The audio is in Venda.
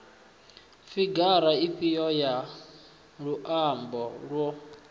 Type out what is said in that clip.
figara ifhio ya muambo yo